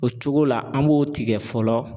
O cogo la an b'o tigɛ fɔlɔ